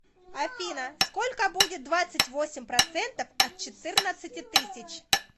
афина сколько будет двадцать восемь процентов от четырнадцати тысяч